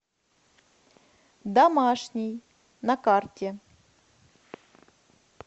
домашний на карте